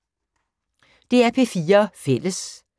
DR P4 Fælles